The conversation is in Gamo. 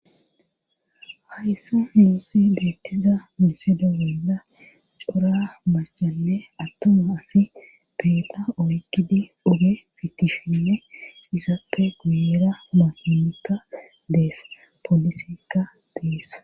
hayssa muusi beetteza mensedo wenna cora maschane attoma asi peeda oykkidi uge fitisshinne izaappe guyeera masonika dees polisika bies